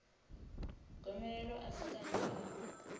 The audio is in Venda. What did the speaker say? gomelelo a si kanzhi i